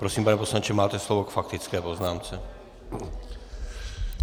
Prosím, pane poslanče, máte slovo k faktické poznámce.